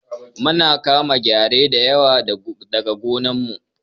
Mun kama gyare da yawa daga gonar mu